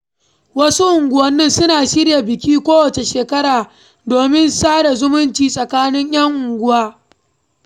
Wasu unguwanni suna shirya biki kowace shekara domin sada zumunci tsakanin 'yan unguwa.